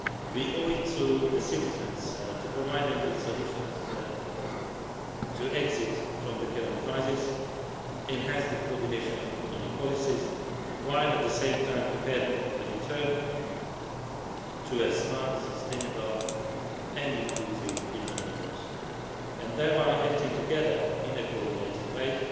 We owe it to the citizens to provide them with solutions to exit the current crisis and enhance the coordination of economic policies, while, at the same time, preparing a return to smart, sustainable and inclusive economic growth. By acting together in a coordinated